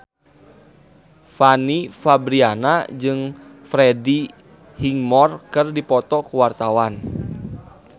Fanny Fabriana jeung Freddie Highmore keur dipoto ku wartawan